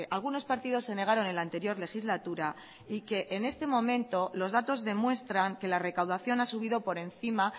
algunos partidos se negaron en la anterior legislatura y que en este momento los datos demuestran que la recaudación ha subido por encima